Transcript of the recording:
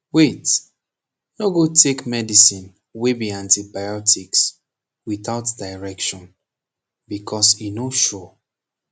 wait no go take medicine wey be antibiotics without direction becoz e no sure